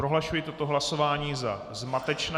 Prohlašuji toto hlasování za zmatečné.